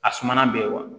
A sumana bɛɛ ye wa